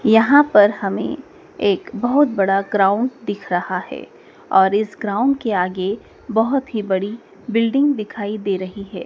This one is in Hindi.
यहां पर हमें एक बहुत बड़ा ग्राउंड दिख रहा है और इस ग्राउंड के आगे बहुत ही बड़ी बिल्डिंग दिखाई दे रही है।